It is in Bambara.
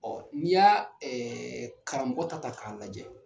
n'i y'a karamɔgɔ ta ta k'a lajɛ.